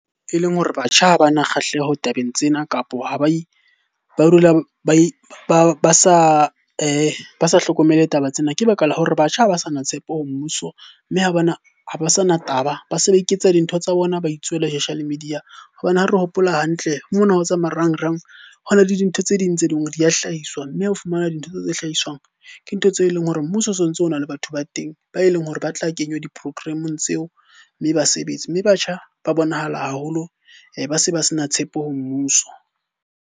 E leng hore batjha ha bana kgahleho tabeng tsena kapo ba dula ba sa ba sa hlokomele taba tsena. Ke baka la hore batjha ha ba sana tshepo ho mmuso mme ha bana, ha ba sa na taba. Ba se ba iketsa dintho tsa bona ba itswela media. Hobane ha re hopola hantle mona ho tsa marangrang, ho na le dintho tse ding tse leng hore di a hlahiswa. Mme o fumana dintho tseo tse hlahiswang, ke ntho tse leng hore mmuso o so ntso o na le batho ba teng ba e leng hore ba tla kenywa di-program-ong tseo mme ba sebetse. Mme batjha ba bonahala haholo ba se ba se na tshepo ho mmuso.